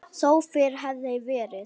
Þó fyrr hefði verið.